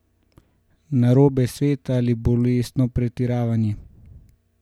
Narobe svet in bolestno pretiravanje?